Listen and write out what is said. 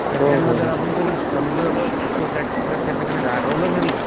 तर आपण कधी सपोज दॅट की जर त्यांच्याकडे रागावलं जरी